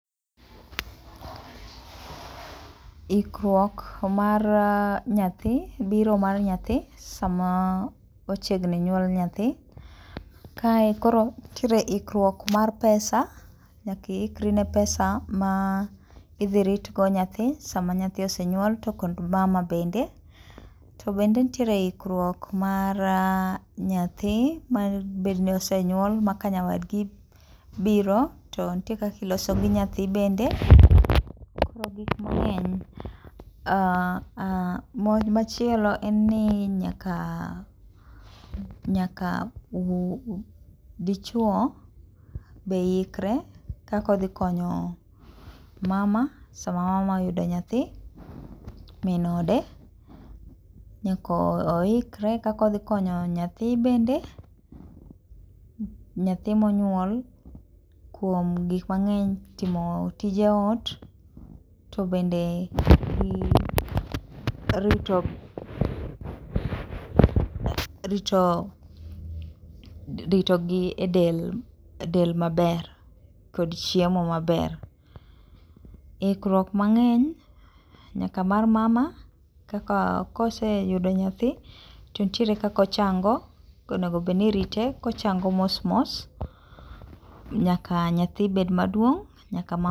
Ikruok mar nyathi, biro mar nyathi, sama ochiegni nyuol nyathi, kae koro nitiere ikruok mar pesa. Nyaka iikri ne pesa ma idhi ritgo nyathi sama nyathi osenyuol to kod mama bende. To bende nitiere ikruok mar nyathi madibed ni osenyuol ma ka nyawadgi biro to nitie kaka iloso gi nyathi bende. Koro gik mang'eny, machielo en ni nyaka dichuo be ikre kaka odhi konyo mama sama mama oyudo nyathi, min ode. Nyako ikre kaka odhi konyo nyathi bende, nyathi monyuol kuom gik mang'eny, timo tije ot, to bende rito gi del maber, kod chiemo maber. Ikruok mang'eny nyaka mar mama kaka koseyudo nyathi to nitiere kaka ochang'o, kaka onego obed ni irite kochango mos mos nyaka nyathi bed maduong'.